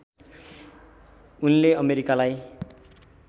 उनले अमेरिकालाई